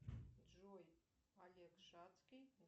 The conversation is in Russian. джой олег шацкий